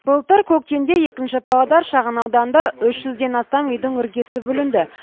былтыр көктемде екінші павлодар шағын ауданында үш жүзден астам үйдің іргесі бүлінді